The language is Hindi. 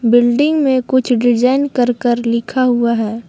बिल्डिंग में कुछ डिजाइन करकर लिखा हुआ है।